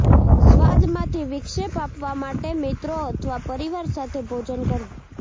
સ્વાદમાંથી વિક્ષેપ આપવા માટે મિત્રો અથવા પરિવાર સાથે ભોજન કરવું